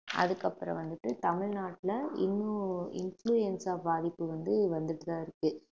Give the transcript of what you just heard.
அதுக்கப்புறம் வந்துட்டு தமிழ்நாட்டுல இன்னும் இன்ஃபுளுவென்சா பாதிப்பு வந்து வந்துட்டுதான் இருக்கு